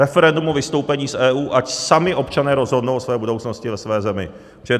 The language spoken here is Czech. Referendum o vystoupení z EU, ať sami občané rozhodnou o své budoucnosti ve své zemi.